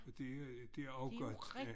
Det er også godt